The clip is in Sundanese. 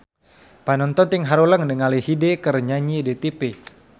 Panonton ting haruleng ningali Hyde keur nyanyi di tipi